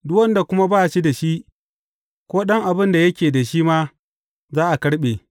Duk wanda kuma ba shi da shi, ko ɗan abin da yake da shi ma, za a karɓe.